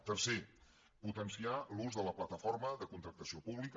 tercer potenciar l’ús de la plataforma de contractació pública